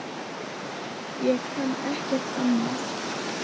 Ég kann ekkert annað.